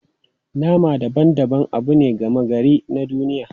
Nama daban-daban abu ne gama gari na duniya.